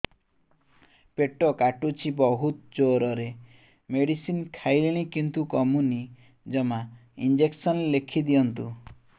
ପେଟ କାଟୁଛି ବହୁତ ଜୋରରେ ମେଡିସିନ ଖାଇଲିଣି କିନ୍ତୁ କମୁନି ଜମା ଇଂଜେକସନ ଲେଖିଦିଅନ୍ତୁ